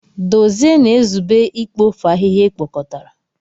Dozie na-ezube ikpofu ahịhịa ekpokọtara.